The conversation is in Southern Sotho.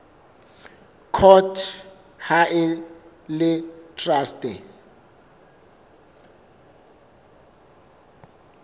court ha e le traste